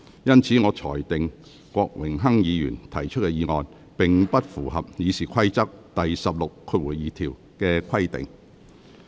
因此，我裁定郭榮鏗議員要求動議的議案，並不符合《議事規則》第162條的規定。